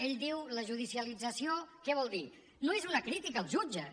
ell diu la judicialització què vol dir no és una crítica als jutges